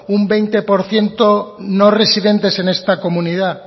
un veinte por ciento no residentes en esta comunidad